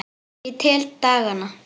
Ég tel dagana.